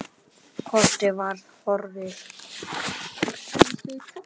Kortið var horfið!